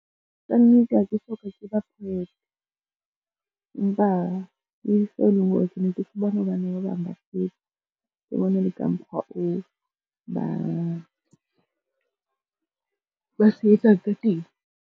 Kannete ha ke soka ke ba poet, empa ke se e leng hore ke ne ke se bona hobane ba bang ba se etsa, ke bona le ka mokgwa o ba se etsang ka teng.